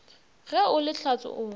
ge o le hlatse o